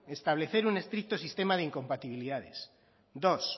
establecer un estricto sistema de incompatibilidades dos